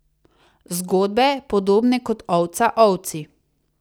Zgodbe, podobne kot ovca ovci.